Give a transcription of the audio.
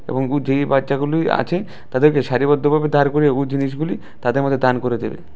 এবং উ যে এই বাচ্চাগুলুই আছে তাদেরকে সারিবদ্ধভাবে দাঁড় করিয়ে উ জিনিসগুলি তাদের মধ্যে দান করে দেবে।